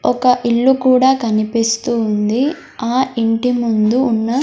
ఒక్క ఇల్లు కూడా కనిపిస్తూ ఉంది ఆ ఇంటి ముందు ఉన్న--